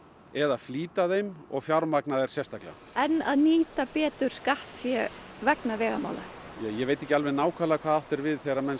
eða flýta þeim og fjármagna þær sérstaklega en að nýta betur skattfé vegna vegamála já ég veit ekki alveg nákvæmlega hvað átt er við þegar menn